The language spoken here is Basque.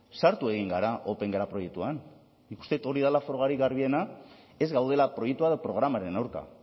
sartu egin gara opengela proiektuan nik uste dut hori dela frogarik garbiena ez gaudela proiektua edo programaren aurka